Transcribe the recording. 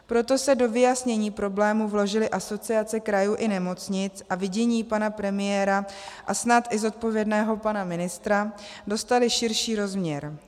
Proto se do vyjasnění problému vložily Asociace krajů i nemocnic a vidění pana premiéra a snad i zodpovědného pana ministra dostaly širší rozměr.